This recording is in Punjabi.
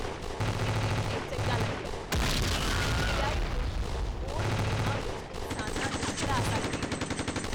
ਇਹ ਦੇਖ ਕੇ ਚੰਗਾ ਲੱਗਿਆ ਕੀ ਏ.ਆਈ. ਹੁਣ ਬੋਰਡ ਗੇਮਾਂ ਵਿੱਚ ਇਨਸਾਨਾਂ ਨੂੰ ਹਰਾ ਸਕਦੀ ਹੈ।